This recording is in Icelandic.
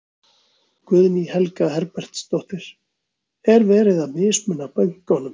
Guðný Helga Herbertsdóttir: Er verið að mismuna bönkunum?